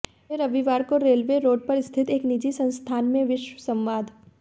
वे रविवार को railway road पर स्थित एक निजी संस्थान में विश्व संवाद